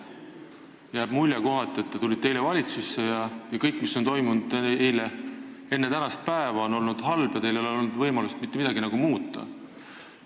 Kohati aga jääb mulje, nagu te oleksite eile valitsusse tulnud ja kõik, mis on toimunud enne tänast päeva, on olnud halb, ja teil ei ole olnud võimalust mitte midagi muuta.